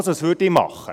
Was würde ich machen?